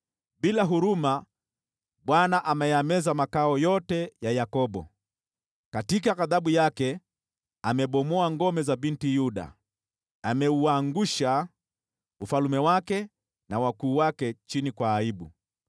Bila huruma Bwana ameyameza makao yote ya Yakobo; katika ghadhabu yake amebomoa ngome za Binti Yuda. Ameuangusha ufalme wake na wakuu wake chini kwa aibu.